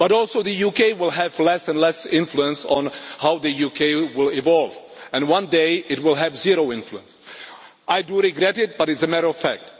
Also, the UK will have less and less influence on how the EU will evolve and one day it will have zero influence. I do regret it, but it is a matter of fact.